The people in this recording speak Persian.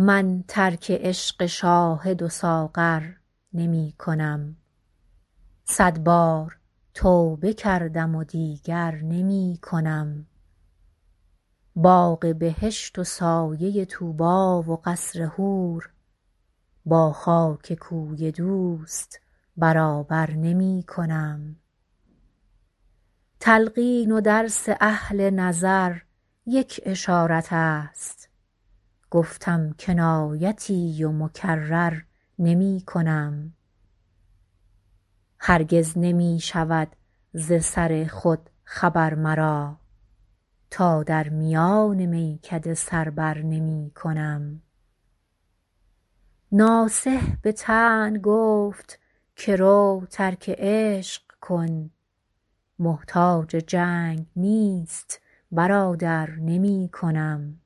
من ترک عشق شاهد و ساغر نمی کنم صد بار توبه کردم و دیگر نمی کنم باغ بهشت و سایه طوبی و قصر و حور با خاک کوی دوست برابر نمی کنم تلقین و درس اهل نظر یک اشارت است گفتم کنایتی و مکرر نمی کنم هرگز نمی شود ز سر خود خبر مرا تا در میان میکده سر بر نمی کنم ناصح به طعن گفت که رو ترک عشق کن محتاج جنگ نیست برادر نمی کنم